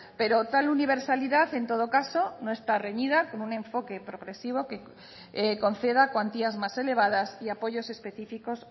pero tal universalidad en todo caso no está reñida como un enfoque progresivo que conceda cuantías más elevadas y apoyos específicos